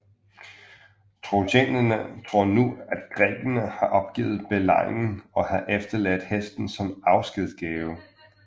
Trojanerne tror nu at grækerne har opgivet belejringen og har efterladt hesten som afskedsgave